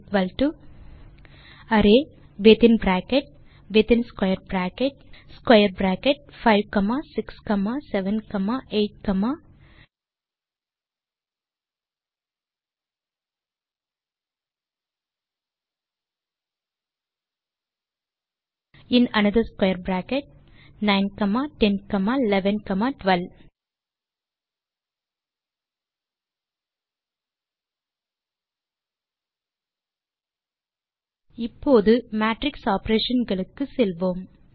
type செய்க ம்3 array within bracket within square bracket square bracket 5 comma 6 comma 7 comma 8 comma in another square bracket 9 comma 10 comma 11 comma 12 இப்போது matrix operation களுக்கு செல்வோம்